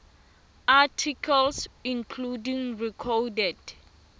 articles including recorded